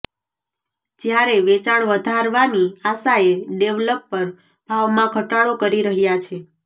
જ્યારે વેચાણ વધારવાની આશાએ ડેવલપર ભાવમાં ઘટાડો કરી રહ્યા છે